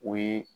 O ye